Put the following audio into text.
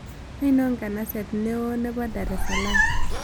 Ainon nganaseet ne oo nepo dar es salaam